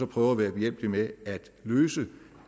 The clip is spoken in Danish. prøve at være behjælpelig med at løse det